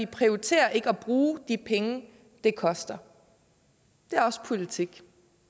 prioriterer ikke at bruge de penge det koster det er også politik